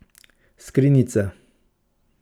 Skrinjica.